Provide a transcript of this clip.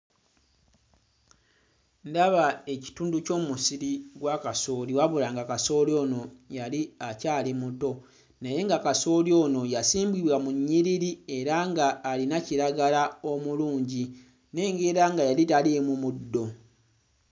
Ndaba ekitundu ky'omusiri gwa kasooli wabula nga kasooli ono yali akyali muto naye nga kasooli ono yasimbibwa mu nnyiriri era nga alina kiragala omulungi. Nnengera nga yali taliimu muddo.